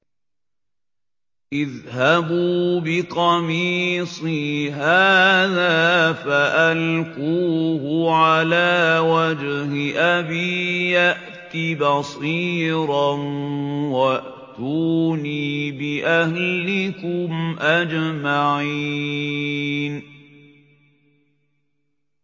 اذْهَبُوا بِقَمِيصِي هَٰذَا فَأَلْقُوهُ عَلَىٰ وَجْهِ أَبِي يَأْتِ بَصِيرًا وَأْتُونِي بِأَهْلِكُمْ أَجْمَعِينَ